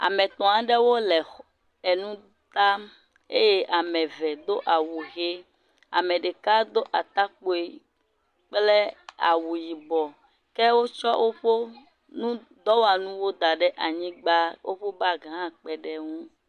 Ame etɔ̃ aɖewo le enu tam eye ame eve do awu ʋi. Aɖe ɖeka do atakpui kple awu yibɔ ke wotsɔ woƒe nutɔwɔlawo da ɖe anyigba. Wokɔ bagi hã kpe ɖe eŋu.